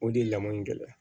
O de ye lamɔ in gɛlɛya